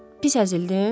Pis əzildin?